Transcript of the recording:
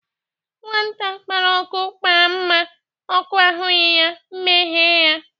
Nwata kpara ọkụ, kpara mma, ọkụ ahụghị ya, mma eyie ya